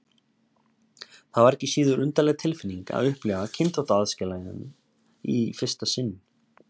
Það var ekki síður undarleg tilfinning að upplifa kynþáttaaðskilnaðinn í fyrsta sinn.